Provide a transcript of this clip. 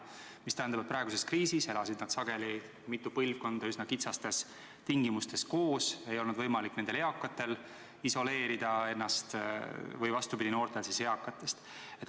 See tähendab, et praeguse kriisi ajal elas sageli mitu põlvkonda üsna kitsastes oludes koos ja eakatel ei olnud võimalik ennast noortest isoleerida ega vastupidi, noortel eakatest.